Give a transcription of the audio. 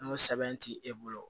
N'o sɛbɛn ti e bolo